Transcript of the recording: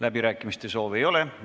Läbirääkimiste soovi ei ole.